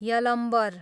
Yalambar